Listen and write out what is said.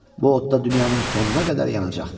Bu odda dünyanın sonuna qədər yanacaqdır.